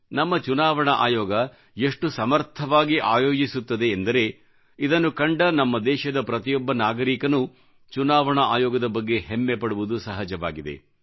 ನಮ್ಮ ಚುನಾವಣಾ ಆಯೋಗ ಎಷ್ಟು ಸಮರ್ಥವಾಗಿ ಆಯೋಜಿಸುತ್ತದೆ ಎಂದರೆ ಇದನ್ನು ಕಂಡ ನಮ್ಮ ದೇಶದ ಪ್ರತಿಯೊಬ್ಬ ನಾಗರಿಕನೂ ಚುನಾವಣಾ ಆಯೋಗದ ಬಗ್ಗೆ ಹೆಮ್ಮೆ ಪಡುವುದು ಸಹಜವಾಗಿದೆ